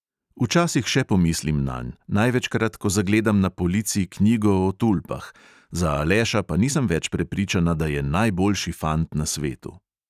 Včasih še pomislim nanj, največkrat, ko zagledam na polici knjigo o tulpah, za aleša pa nisem več prepričana, da je najboljši fant na svetu.